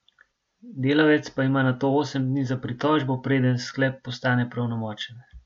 Delavec pa ima nato osem dni za pritožbo, preden sklep postane pravnomočen.